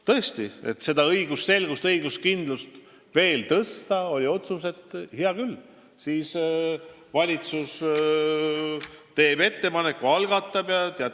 Tõesti, et õigusselgust, õiguskindlust veel tugevdada, oli otsus, et hea küll, valitsus teeb ettepaneku ja algatab eelnõuga seadusmuudatuse.